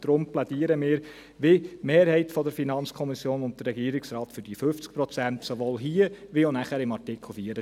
Deshalb plädieren wir, wie die Mehrheit der FiKo und der Regierungsrat, für 50 Prozent, sowohl hier, als auch nachher bei Artikel 24.